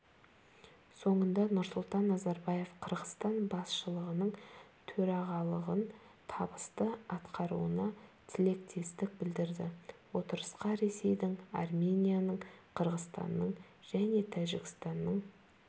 соңында нұрсұлтан назарбаев қырғызстан басшылығының төрағалығын табысты атқаруына тілектестік білдірді отырысқа ресейдің арменияның қырғызстанның және тәжікстанның